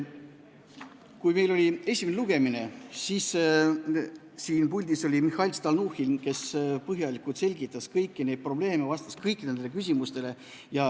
Kui meil oli esimene lugemine, siis oli siin puldis Mihhail Stalnuhhin, kes selgitas põhjalikult kõiki probleeme ja vastas küsimustele.